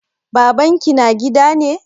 Baban ki na gida ne?